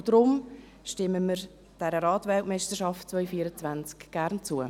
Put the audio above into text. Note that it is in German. Deshalb stimmen wir dieser Rad-WM 2024 gerne zu.